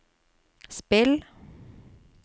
spill